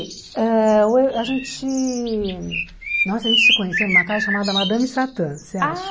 ãh o e a gente nossa a gente se conheceu numa casa chamada Madame Satã, você acha?